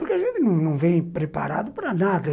porque a gente não vem preparado para nada.